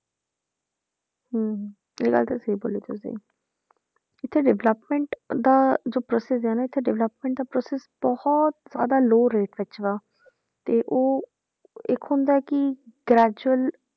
ਹਮ ਇਹ ਗੱਲ ਤਹ ਸਹੀ ਬੋਲੀ ਤੁਸੀਂ ਇੱਥੇ development ਦਾ ਜੋ process ਹੈ ਨਾ ਇੱਥੇ development ਦਾ process ਬਹੁਤ ਜ਼ਿਆਦਾ low rate ਵਿੱਚ ਵਾ ਤੇ ਉਹ ਇੱਕ ਹੁੰਦਾ ਕਿ gradual